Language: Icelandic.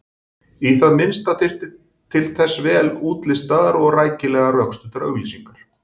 Í það minnsta þyrfti til þess vel útlistaðar og rækilega rökstuddar auglýsingar.